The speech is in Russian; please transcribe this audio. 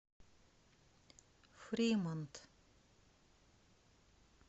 фримонт